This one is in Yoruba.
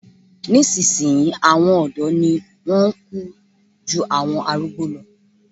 Ní ìsisìnyí àwọn ọ̀dọ́ ni ó n kú jù àwọn arúgbó lo